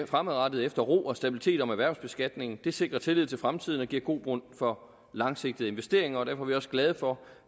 fremadrettet efter ro og stabilitet om erhvervsbeskatningen det sikrer tillid til fremtiden og giver grobund for langsigtede investeringer og derfor er vi også glade for